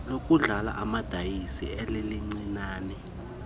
lokudlala amadayisi lalilincinane